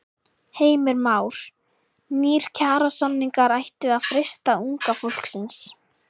Heimir Már: Nýir kjarasamningar ættu að freista unga fólksins?